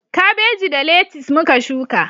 Kabeji da letis muka shuka